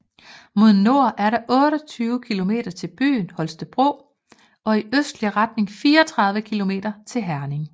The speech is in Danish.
Mod nord er der 28 km til byen Holstebro og i østlig retning 34 km til Herning